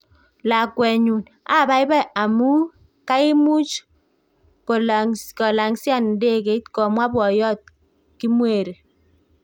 Lakwenyu, ababai amu kaimuch kolang'sian ndegeit, komwa boyot Kimweri